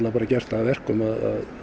gert það að verkum það